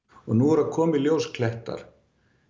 nú eru að koma í ljós klettar